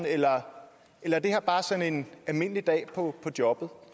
eller er det her bare sådan en almindelig dag på jobbet